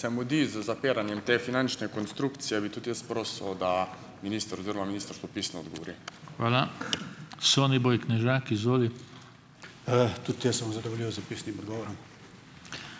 Se mudi z zapiranjem te finančne konstrukcije, bi tudi jaz prosil, da minister oziroma ministrstvo pisno odgovori.